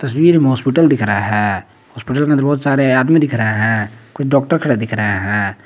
भीड़ में हॉस्पिटल दिखाया हैं हॉस्पिटल में बहुत सारे आदमी दिख रहा हैं कुछ डॉक्टर खड़े दिख रहे है।